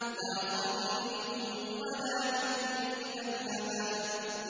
لَّا ظَلِيلٍ وَلَا يُغْنِي مِنَ اللَّهَبِ